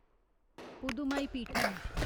पुधुमाईपीठन